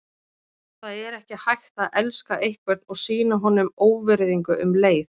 Það er ekki hægt að elska einhvern og sýna honum óvirðingu um leið.